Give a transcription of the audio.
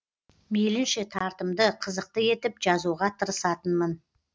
мейлінше тартымды қызықты етіп жазуға тырысатынмын